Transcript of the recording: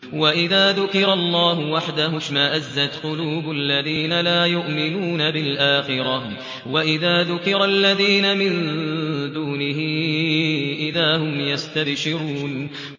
وَإِذَا ذُكِرَ اللَّهُ وَحْدَهُ اشْمَأَزَّتْ قُلُوبُ الَّذِينَ لَا يُؤْمِنُونَ بِالْآخِرَةِ ۖ وَإِذَا ذُكِرَ الَّذِينَ مِن دُونِهِ إِذَا هُمْ يَسْتَبْشِرُونَ